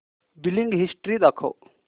billing history दाखव